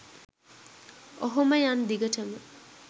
ඔහොම යන් දිගටම .